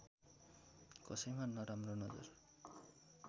कसैमा नराम्रो नजर